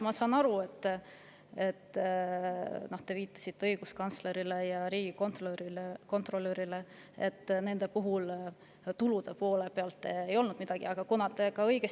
Ma saan aru, et te õiguskantsleri ja riigikontrolöri puhul viitasite sellele, et tulude poole kohta polnud neil midagi.